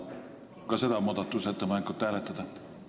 Palun ka seda muudatusettepanekut hääletada!